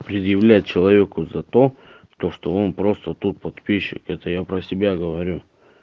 предъявлять человеку за то то что он просто тут подписчик это я про себя говорю